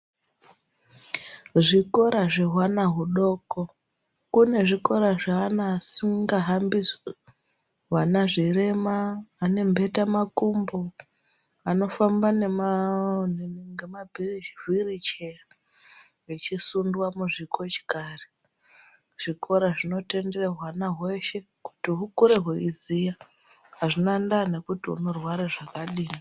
Zvikora zvehwana hudoko-kune zvikora zvaana asingahambi, wana zvirema, ane mbeta makumbo, anofamba nemawirucheya-vechisundwa muzvikochikari, zvikora zvinotendera hwana hwese kuti hukure hweiziya hazvina ndaa nekuti unorwara zvakadii.